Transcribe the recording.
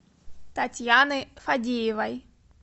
татьяны фадеевой